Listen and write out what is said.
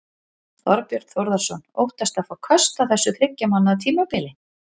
Þorbjörn Þórðarson: Óttastu að fá köst á þessu þriggja mánaða tímabili?